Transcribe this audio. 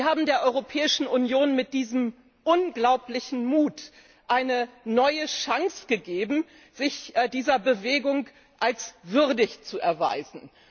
Sie haben der Europäischen Union mit diesem unglaublichen Mut eine neue Chance gegeben, sich dieser Bewegung als würdig zu erweisen.